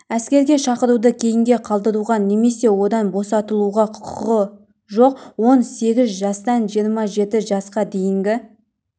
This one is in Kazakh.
әскерге шақыруды кейінге қалдыруға немесе одан босатылуға құқығы жоқ он сегіз жастан жиырма жеті жасқа дейінгі